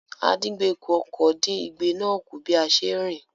Àdíngbekù-ọkọ̀ dín igbe náà kù bí a ṣe ń rìn.